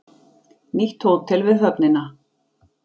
Nýtt hótel við höfnina